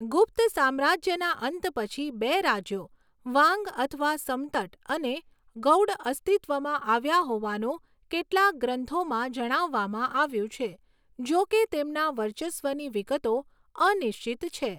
ગુપ્ત સામ્રાજ્યના અંત પછી બે રાજ્યો વાંગ અથવા સમતટ અને ગૌડ અસ્તિત્વમાં આવ્યા હોવાનું કેટલાક ગ્રંથોમાં જણાવવામાં આવ્યું છે, જોકે તેમના વર્ચસ્વની વિગતો અનિશ્ચિત છે.